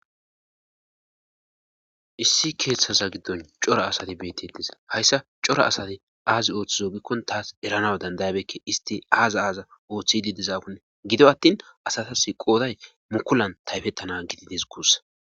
Issi keeththaza giddon cora asati beetetis hayssa cora asati aazi ooththizo gikkon taas eranaw dandayabekke isti aaza aaza ooththidi dizaakunne gido attin asatas qooday mukulan tayfettana gidides guussa.